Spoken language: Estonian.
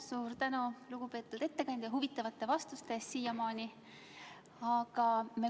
Suur tänu, lugupeetud ettekandja, huvitavate vastuste eest siiamaani!